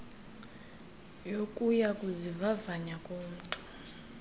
yokuya kuzivavanya komntu